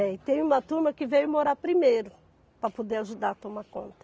E tem uma turma que veio morar primeiro para poder ajudar a tomar conta.